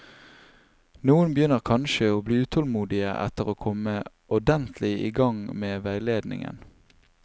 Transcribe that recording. Noen begynner kanskje å bli utålmodige etter å komme ordentlig i gang med veiledningen.